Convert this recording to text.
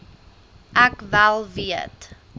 ek wel weet